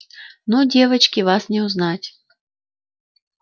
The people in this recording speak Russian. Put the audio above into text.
ну девочки вас не узнать